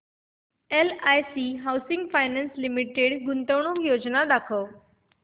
LIC housing finance limited गुंतवणूक योजना दाखव